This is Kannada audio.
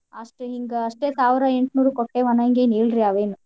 ಅಷ್ಟಿನ್ದ್ ಅಷ್ಟೇ ಸಾವ್ರ ಏಂಟ್ನೂರು ಕೊಟ್ಟೆವ್ ಅನಂಗ್ ಎನ್ ಇಲ್ ರೀ ಅವೇನು.